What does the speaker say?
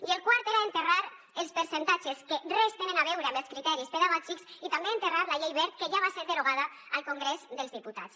i el quart era enterrar els percentatges que res tenen a veure amb els criteris pedagògics i també enterrar la llei wert que ja va ser derogada al congrés dels diputats